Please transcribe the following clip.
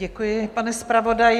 Děkuji, pane zpravodaji.